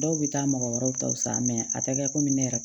Dɔw bɛ taa mɔgɔ wɛrɛw ta san a tɛ kɛ komi ne yɛrɛ